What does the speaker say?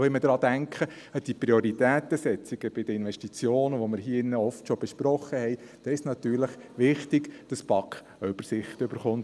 Auch, wenn wir an die Prioritätensetzungen denken, die wir hier in diesem Saal schon oft besprochen haben, ist es natürlich wichtig, dass die BaK eine Übersicht erhält.